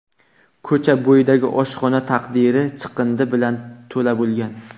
Ko‘cha bo‘yidagi oshxona tandiri chiqindi bilan to‘la bo‘lgan.